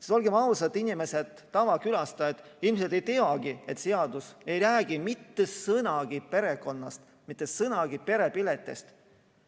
Sest olgem ausad, inimesed, tavakülastajad ilmselt ei teagi, et seadus ei räägi mitte sõnagi perekonnast, mitte sõnagi perepiletist.